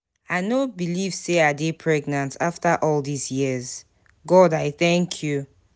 I no believe say I dey pregnant after all dis years. God I thank you.